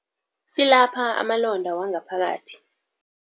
Silapha amalonda wangaphakathi.